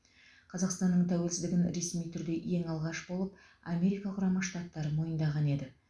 қазақстанның тәуелсіздігін ресми түрде ең алғаш болып америка құрама штаттары мойындаған еді